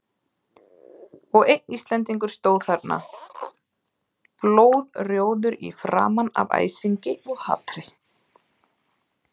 Og einn Íslendingur stóð þarna, blóðrjóður í framan af æsingi og hatri.